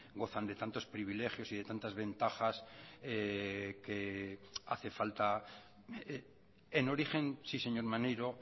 gozan de tantos privilegios y de tantas ventajas que hace falta en origen sí señor maneiro